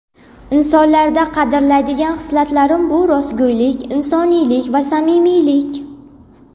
Insonlarda qadrlaydigan hislatlarim bu - rostgo‘ylik, insoniylik va samimiylik.